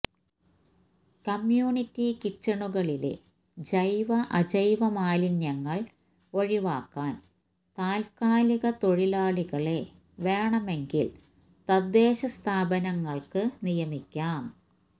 community കിച്ചണുകളിലെ ജൈവ അജൈവ മാലിന്യങ്ങൾ ഒഴിവാക്കാൻ താത്കാലിക തൊഴിലാളികളെ വേണമെങ്കിൽ തദ്ദേശ സ്ഥാപനങ്ങൾക്ക് നിയമിക്കാം